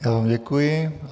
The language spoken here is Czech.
Já vám děkuji.